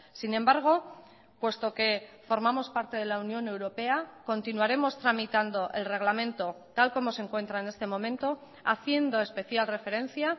sin embargo puesto que formamos parte de la unión europea continuaremos tramitando el reglamento tal como se encuentra en este momento haciendo especial referencia